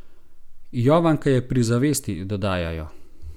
Jovanka je pri zavesti, dodajajo.